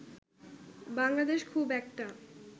বাংলাদেশ খুব একটা